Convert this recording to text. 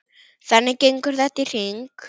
Þannig gengur þetta í hring.